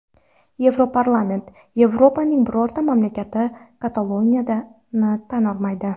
Yevroparlament: Yevropaning birorta mamlakati Kataloniyani tan olmaydi.